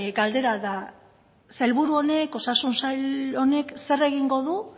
galdera da sailburu honek osasun sail honek zer egingo du